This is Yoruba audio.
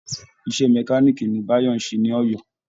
Iṣẹ́ mẹkáníìkì ni Báyò ń ṣe ní Ọ̀yọ́